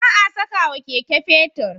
Ba a sakawa Keke fetir